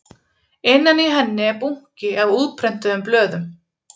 Innan í henni er bunki af útprentuðum blöðum